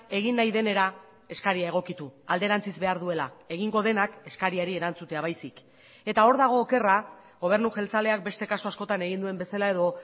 egin nahi denera eskaria egokitu alderantziz behar duela egingo denak eskariari erantzutea baizik eta hor dago okerra gobernu jeltzaleak beste kasu askotan egin duen bezala edo